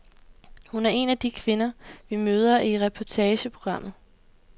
Hun er en af de kvinder, vi møder i reportageprogrammet.